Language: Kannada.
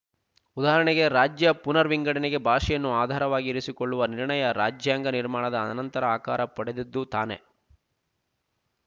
ಉದಾಹರಣೆಗೆ ರಾಜ್ಯ ಪುನರ್ವಿಂಗಡಣೆಗೆ ಭಾಷೆಯನ್ನು ಆಧಾರವಾಗಿ ಇರಿಸಿಕೊಳ್ಳುವ ನಿರ್ಣಯ ರಾಜ್ಯಾಂಗ ನಿರ್ಮಾಣದ ಅನಂತರ ಆಕಾರ ಪಡೆದದ್ದು ತಾನೇ